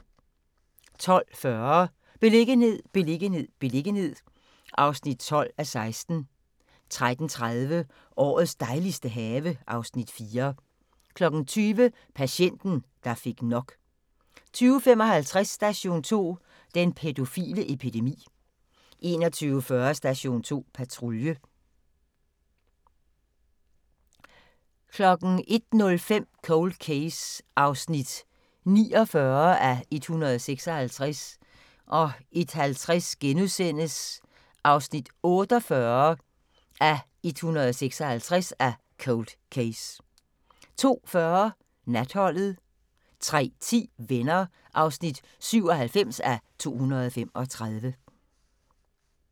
12:40: Beliggenhed, beliggenhed, beliggenhed (12:16) 13:30: Årets dejligste have (Afs. 4) 20:00: Patienten, der fik nok 20:55: Station 2: Den pædofile epidemi 21:40: Station 2 Patrulje 01:05: Cold Case (49:156) 01:50: Cold Case (48:156)* 02:40: Natholdet 03:10: Venner (97:235)